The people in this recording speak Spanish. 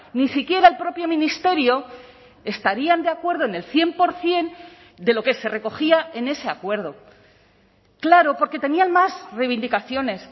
ni siquiera el propio ministerio estarían de acuerdo en el cien por ciento de lo que se recogía en ese acuerdo claro porque tenían más reivindicaciones